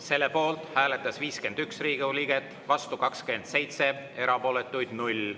Selle poolt hääletas 51 Riigikogu liiget, vastu 27, erapooletuid 0.